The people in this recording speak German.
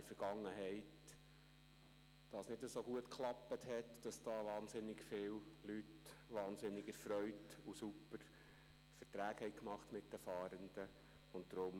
In der Vergangenheit hat dies nicht so gut funktioniert, insofern als wahnsinnig viele Leute wahnsinnig erfreut Super-Verträge mit den Fahrenden gemacht hätten.